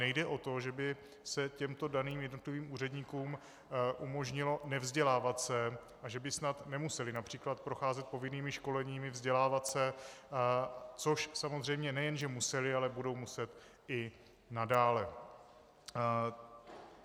Nejde o to, že by se těmto daným jednotlivým úředníkům umožnilo nevzdělávat se a že by snad nemuseli například procházet povinnými školeními, vzdělávat se, což samozřejmě nejen že museli, ale budou muset i nadále.